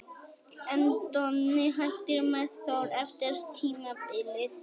En Donni hættir með Þór eftir tímabilið.